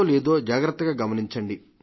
లేదో జాగ్రత్తగా గమనించండి